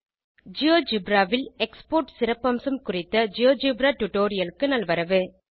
GeoGebra ல் export சிறப்பம்சம் குறித்த ஜியோஜெப்ரா டுடோரியலுக்கு நல்வரவு